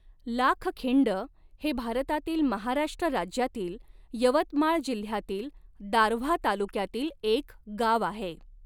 लाखखिंड हे भारतातील महाराष्ट्र राज्यातील यवतमाळ जिल्ह्यातील दारव्हा तालुक्यातील एक गाव आहे.